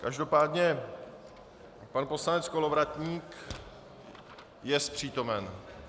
Každopádně pan poslanec Kolovratník... jest přítomen.